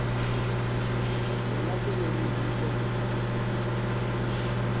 tswela pele re utlwe rra